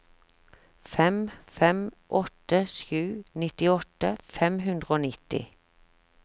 fem fem åtte sju nittiåtte fem hundre og nitti